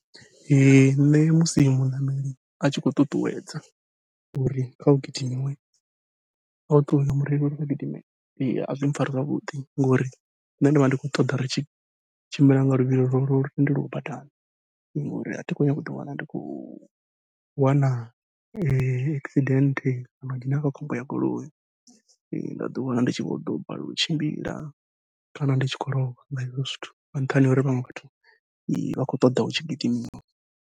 Ee nṋe musi muṋameli atshi khou ṱuṱuwedza uri kha hu gidimiwe a mureili uri kha gidime a zwi mpfhari zwavhuḓi ngori nṋe ndi vha ndi khou ṱoḓa ri tshi tshimbile nga luvhilo lwo lu tendelwaho badani. Ngori athi khou nyanga uḓi wana ndi khou wana accident kana nda dzhena kha khombo ya goloi nda ḓi wana ndi tshi vho ḓo balelwa u tshimbila, kana ndi tshi khou lovha nga hezwo zwithu nga nṱhani ha uri vhaṅwe vhathu vha khou ṱoḓa hu tshi gidimiwa.